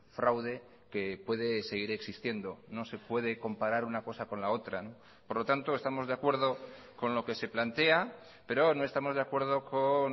fraude que puede seguir existiendo no se puede comparar una cosa con la otra por lo tanto estamos de acuerdo con lo que se plantea pero no estamos de acuerdo con